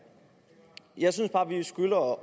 jeg synes bare man skylder at